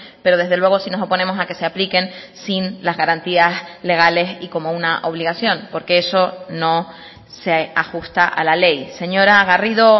pero desde luego sí nos oponemos a que se apliquen sin las garantías legales y como una obligación porque eso no se ajusta a la ley señora garrido